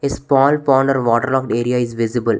A small pond or water logged area is visible.